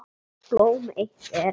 Blóm eitt er.